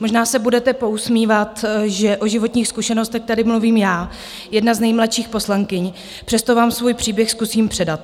Možná se budete pousmívat, že o životních zkušenostech tady mluvím já, jedna z nejmladších poslankyň, přesto vám svůj příběh zkusím předat.